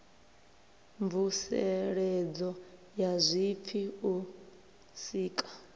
mvuseledzo ya zwipfi u sika